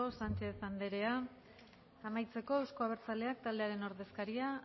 sánchez andrea amaitzeko euzko abertzaleak taldearen ordezkaria